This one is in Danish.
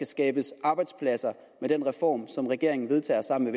skabes arbejdspladser med den reform som regeringen vedtager sammen